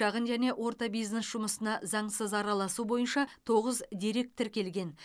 шағын және орта бизнес жұмысына заңсыз араласу бойынша тоғыз дерек тіркелген